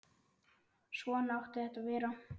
Svona átti þetta að vera.